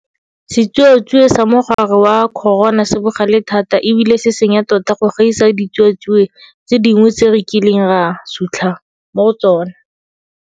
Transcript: Setsuatsue sa mogare wa corona se bogale thata e bile se senya tota go gaisa ditsuatsue tse dingwe tse re kileng ra sutlha mo go tsona.